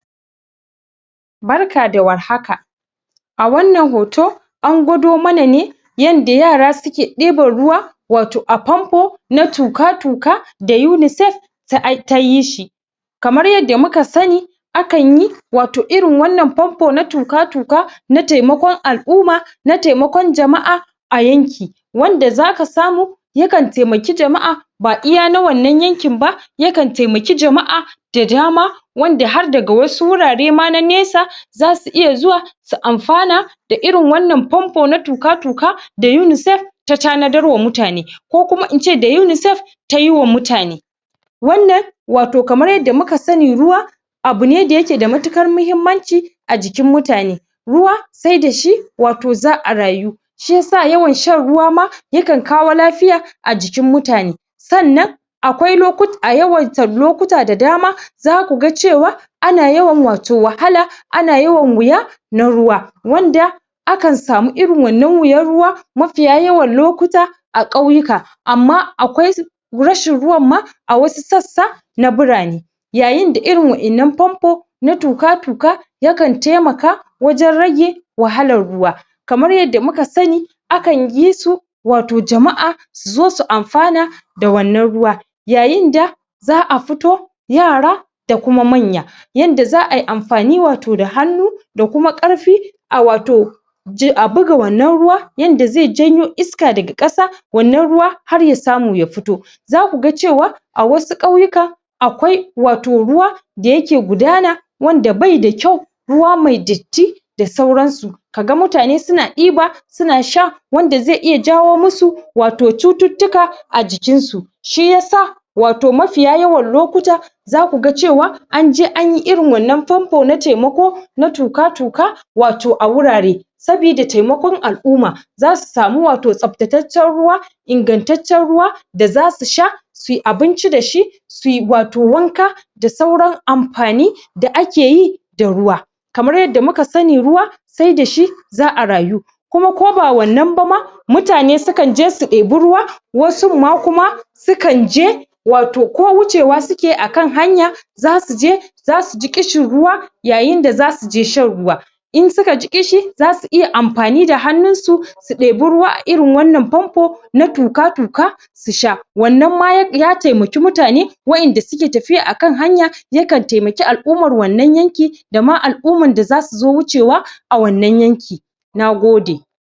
barka da warhaka a wannan hoto an gwado mana ne yadda yara suke ɗiban ruwa wato a pampo na tuƙa-tuƙa da UNICEF tayi shi kamar yadda muka sani akan yi wato irin wannan pampo na tuƙa-tuƙa na temakon al'umma na temakon jama'a a yanki wanda zaka samu ya kan temaki jama'a ba iya na wannan yankin ba ya kan temaki jama'a da dama wanda har daga wasu wurare ma na nesa zasu iya zuwa su amfana da irin wannan pampo na tuƙa-tuƙa da UNICEF ta tanadar wa mutane ko kuma ince da UNICEF tayi wa mutane wannan wato kamar yadda muka sani ruwa abu ne da yake da matuƙar muhimmanci a jikin mutane ruwa se da shi wato za'a rayu shiyasa yawan shan ruwa ma ya kan kawo lafiya a jikin mutane sannan akwai na a yawaita lokuta da dama zaku ga cewa ana yawan wato wahala ana yawan wuya na ruwa wanda akan samu irin wannan wuyan ruwa mafiya yawan lokuta a ƙauyuka amma akwai rashin ruwan ma a wasu sassa na birane yayin da irin wa'innan pampo na tuƙa-tuƙa ya kan temaka wajen rage wahalar ruwa kamar yadda muka sani akan yi su wato jama'a su zo su amfana da wannan ruwa yayin da za'a fito yara da kuma manya yanda za'a yi amfani wato da hannu da kuma ƙarfi a wato a buga wannan ruwa yanda ze janyo iska daga ƙasa wannan ruwa har ya samu ya fito zaku ga cewa a wasu ƙauyuka akwai wato ruwa da yake gudana wanda bai da kyau ruwa me datti da sauran su ka ga mutane suna ɗiba suna sha wanda ze iya jawo mu su wato cututtuka a jikin su shi yasa wato mafiya yawan lokuta zaku ga cewa anje anyi irin wannan pampo na temako na tuƙa-tuƙa wato a wurare sabida temakon al'umma zasu samu wato tsabtataccen ruwa ingantaccen ruwa da za su sha suyi abinci da shi suyi wato wanka da sauran amfani da ake yi da ruwa kamar yadda muka sani ruwa se da shi za'a rayu kuma ko ba wannan ba ma mutane su kan je su ɗebi ruwa wasun ma kuma su kan je wato ko wucewa suke a kan hanya zasu je zasu ji ƙishin ruwa yayin da zasu je shan ruwa in suka ji ƙishi zasu iya amfani da hannun su su ɗebi ruwa a irin wannan pampo na tuƙa-tuƙa su sha wannan ma ya temaki mutane wa inda suke tafiya akan hanya yakan temaki al'ummar wannan yanki da ma al'ummar da zasu zo wucewa a wannan yanki nagode